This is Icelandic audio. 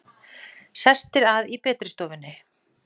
Sestir að í betri stofunni!